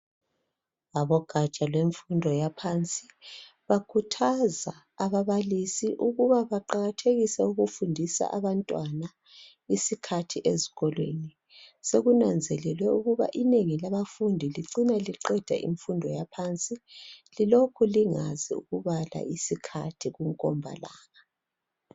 Abogatsha lwemfundo yaphansi bakhuthaza ababalisi ukuba baqakathekise ukufundisa abantwana isikhathi ezikolweni. Sekunanzelelwe ukuba inengi labafundi licina liqeda imfundo yaphansi, lilokhu lingazi ukubala isikhathi kunkombalanga.